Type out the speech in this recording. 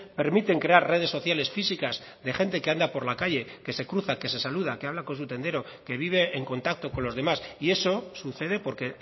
permiten crear redes sociales físicas de gente que anda por la calle que se cruza que se saluda que habla con su tendero que vive en contacto con los demás y eso sucede porque